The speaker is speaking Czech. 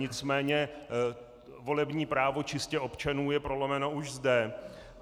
Nicméně volební právo čistě občanů je prolomeno už zde.